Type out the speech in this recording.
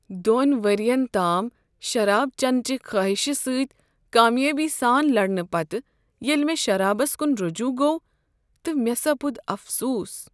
دۄن ؤرین تام شراب چینہٕ چہ خٲہشہ سۭتۍ کامیٲبی سان لڑنہٕ پتہٕ ییٚلہ مےٚ شرابس کن رجوع گوٚو تہٕ مےٚ سپُد افسوس۔